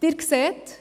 Sie sehen: